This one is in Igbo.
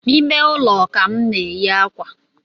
Ime ụlọ ka m na-enyi akwa